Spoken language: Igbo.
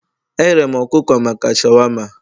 Ehere m ọkụkọ maka shawama